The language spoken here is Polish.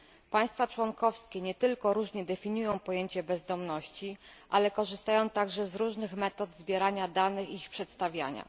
Państwa członkowskie nie tylko różnie definiują pojęcie bezdomności, ale korzystają także z różnych metod zbierania danych i ich przedstawiania.